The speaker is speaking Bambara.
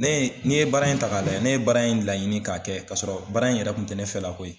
Ne ye n'i ye baara in ta k'a lajɛ ye ne ye bara in laɲini k'a kɛ ka sɔrɔ baara in yɛrɛ kun tɛ ne fɛla ko ye.